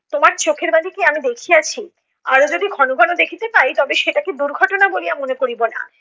তোমার চোখের বালিকে আমি দেখিয়াছি। আরও যদি ঘন ঘন দেখিতে পাই তবে সেটাকে দুর্ঘটনা বলিয়া মনে করিবো না